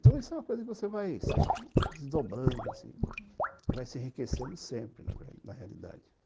Então, isso é uma coisa que você vai sempre desdobrando, assim, uhum, vai se enriquecendo sempre na realidade.